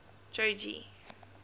jogee